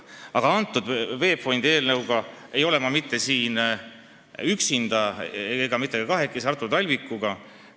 VEB Fondi puudutava eelnõuga ei ole ma siin üksinda ega mitte ka kahekesi Artur Talvikuga.